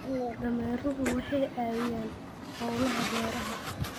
Dameeruhu waxay caawiyaan hawlaha beeraha.